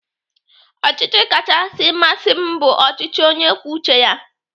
Ọchịchị kachasị masị m bụ ọchịchị onye kwuo uche ya.